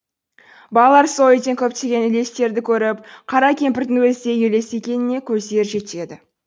балалар сол үйден көптеген елестерді көріп қара кемпірдің өзі де елес екеніне көздері жетеді